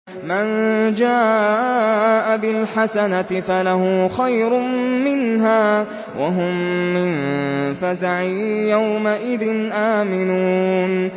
مَن جَاءَ بِالْحَسَنَةِ فَلَهُ خَيْرٌ مِّنْهَا وَهُم مِّن فَزَعٍ يَوْمَئِذٍ آمِنُونَ